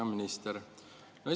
Hea minister!